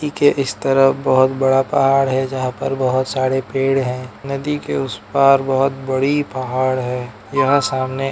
नदी के इस तरफ बहोत बड़ा पाहाड़ है जहां पर बहोत सारे पेड़ है नदी के उस पार बहोत बड़ी पाहाड़ है यहां सामने --